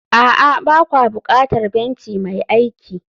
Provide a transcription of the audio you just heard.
a'a, ba kwa buƙatar benci mai aiki